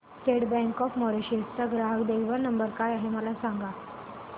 state Bank of Mauritius चा ग्राहक देखभाल नंबर काय आहे मला सांगा